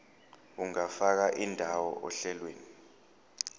ungafaka indawo ohlelweni